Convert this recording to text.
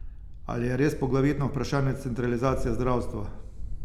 Ali je res poglavitno vprašanje centralizacija zdravstva?